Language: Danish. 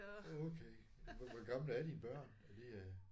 Okay hvor gamle er dine børn er de?